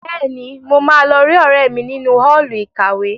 Bẹ́ẹ̀ni, mo máa lọ rí ọ̀rẹ́ mi nínú Ọ́ọ̀lù ìkàwé